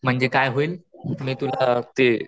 म्हणजे काय होईल अअ ते